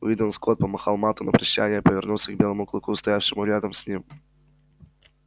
уидон скотт помахал мэтту на прощанье и повернулся к белому клыку стоявшему рядом с ним